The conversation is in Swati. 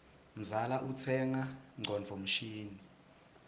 mzala utsenga ngcondvo mshini